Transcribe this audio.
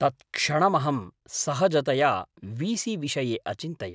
तत्क्षणमहं सहजतया वी.सी विषये अचिन्तयम्।